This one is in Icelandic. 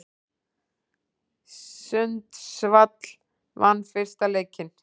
Sundsvall vann fyrsta leikinn